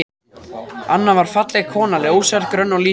Anna var falleg kona, ljóshærð, grönn og lítil.